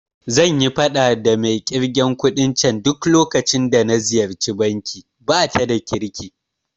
Zanyi faɗa da mai ƙirgen kuɗin can duk lokacin da ziyarci banki, bata da kirki